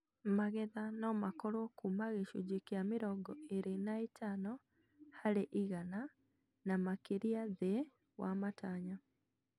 Magetha nomakorwo kuma gĩcunjĩ kĩa mĩrongo ĩrĩ na ĩtano harĩ igana na makĩria thĩ wa matanya